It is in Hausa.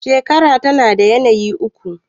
shekara tana da yanayin uku